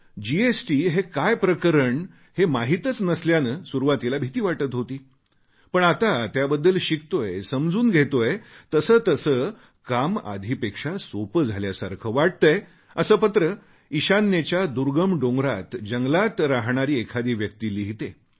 GST हे काय प्रकरण हे माहीतच नसल्याने सुरुवातीला भीती वाटत होती पण आता त्याबद्दल शिकतोयसमजून घेतोय तसतसे काम आधीपेक्षा सोप झाल्यासारखे वाटतेय असे पत्र इशान्येच्या दुर्गम डोंगरांत जंगलांत राहणारी एखादी व्यक्ती लिहिते